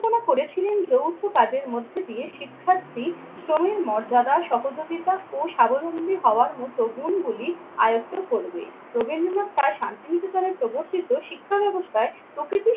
পরিকল্পনা করেছিলেন যৌথ কাজের মধ্যে দিয়ে শিক্ষার্থী শ্রমের মর্যাদা সহযোগিতা ও স্বাবলম্বী হওয়ার মতো গুণগুলি আয়ত্ত করবে। রবীন্দ্রনাথ তার শান্তিনিকেতনের প্রবর্তিত শিক্ষা ব্যাবস্থার